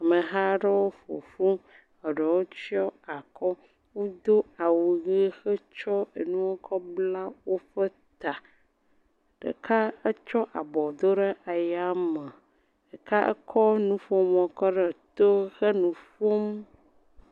Amehaa ɖewo ƒo ƒu. Eɖewo tsyɔ akɔ. Wodo awu ʋee hetsɔ enu kɔ bla woƒe ta. Ɖeka etsɔ abɔ do ɖe ayame. Ɖeka ekɔ nuƒomɔ kɔ ɖee to henu ƒom.